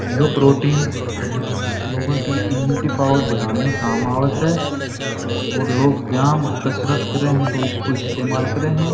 ये प्रोटीन लोगो की इम्युनिटी पावर बढ़ाने में काम आव स और लोग व्यायाम कसरत करे स तो इसको इस्तेमाल करे स।